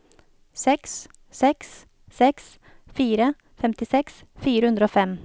seks seks seks fire femtiseks fire hundre og fem